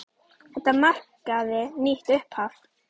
Þetta markaði nýtt upphaf.